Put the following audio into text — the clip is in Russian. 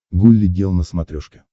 гулли гел на смотрешке